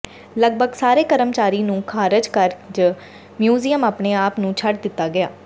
ਲਗਭਗ ਸਾਰੇ ਕਰਮਚਾਰੀ ਨੂੰ ਖਾਰਜ ਕਰ ਜ ਮਿਊਜ਼ੀਅਮ ਆਪਣੇ ਆਪ ਨੂੰ ਛੱਡ ਦਿੱਤਾ ਗਿਆ